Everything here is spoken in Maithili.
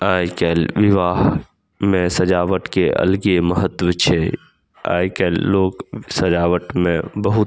आय कएल विवाह मे सजावट के अलगे महत्व छै आय कएल लोग सजावट मे बहुत --